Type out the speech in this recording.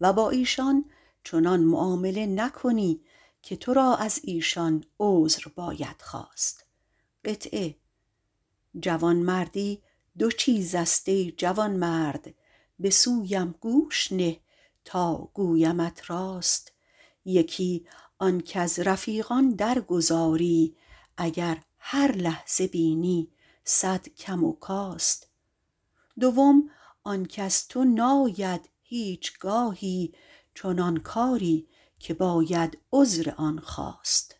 با ایشان چنان معامله نکنی که از ایشان عذر باید خواست جوانمردی دو چیز است ای جوانمرد به سویم گوش کن تا گویمت راست یکی آن کز رفیقان درگذاری اگر هر لحظه بینی صد کم و کاست دویم آن کز تو ناید هیچگاهی چنان کاری که باید عذرشان خواست